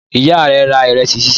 Ìyá rẹ ra ìrẹsì sísè?